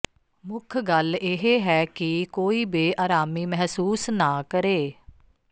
ਮੁੱਖ ਗੱਲ ਇਹ ਹੈ ਕਿ ਕੋਈ ਬੇਅਰਾਮੀ ਮਹਿਸੂਸ ਨਾ ਕਰੇ